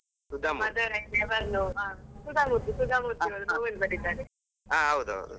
ಹಾ ಹೌದ್ ಹೌದು.